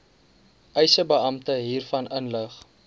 eisebeampte hiervan inlig